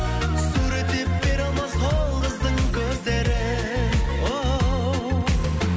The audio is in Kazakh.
суреттеп бере алмас ол қыздың көздерін оу